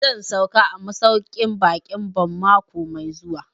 Zan sauka a masauƙin baƙin Bon mako mai zuwa